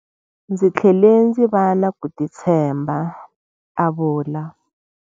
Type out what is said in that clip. Ndzi tlhele ndzi va na ku titshemba, a vula.